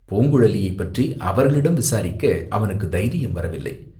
பூங்குழலியைப் பற்றி அவர்களிடம் விசாரிக்க அவனுக்குத் தைரியம் வரவில்லை.